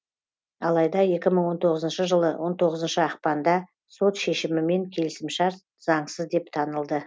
алайда екі мың он тоғызыншы жылы он тоғызыншы ақпанда сот шешімімен келісімшарт заңсыз деп танылды